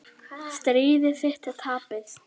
Stríð þitt er tapað.